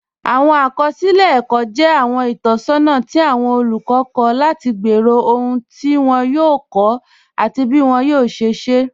Awọn akọsilẹ ẹkọ jẹ awọn itọsọna ti awọn olukọ kọ lati gbẹ́rọ̀ ọhun ti wọn yòò kọ́, ati bí wọn yòò ṣẹ̀ ṣẹ̀.